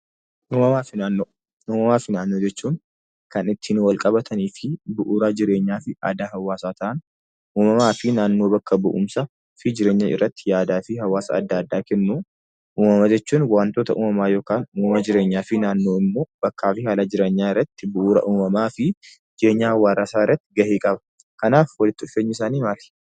Uumamaa fi naannoo jechuun kan ittiin wal qabatanii fi bu'uura jireenyaa fi aadaa hawwaasaa ta'an uumamaa fi naannoo bakka bu'umsa fi jireenya irratti yaadaa fi hawwaasa adda addaa kennu. Uumama jechuun waantota uumamaa yookaan uumama jireenyaa fi naannoo yookiin immoo bakkaa fi haala jireenyaa irratti bu'uura uumamaa fi jireenya hawwaasaa irratti gahee qabu. Kanaaf walitti dhufeenyi isaanii maali?